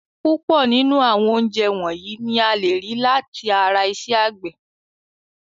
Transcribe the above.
Púpọ̀ nínú àwọn oúnjẹ wọ̀nyìí ni a lè rí láti ara iṣẹ́ àgbẹ̀.